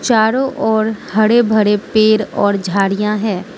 चारों ओर हरे भरे पेड़ और झाड़ियां है।